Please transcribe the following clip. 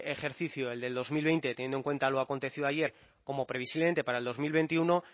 ejercicio el del dos mil veinte teniendo en cuenta lo acontecido ayer como previsiblemente para el dos mil veintiuno